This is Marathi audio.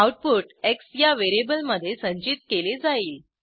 आऊटपुट एक्स या व्हेरिएबलमधे संचित केले जाईल